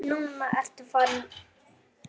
Nú ertu farinn frá mér.